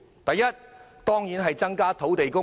第一，增加土地供應。